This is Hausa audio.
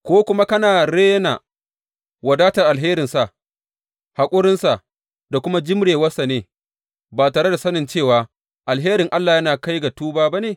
Ko kuma kana rena wadatar alherinsa, haƙurinsa, da kuma jimrewarsa ne ba tare da sanin cewa alherin Allah yana kai ka ga tuba ba ne?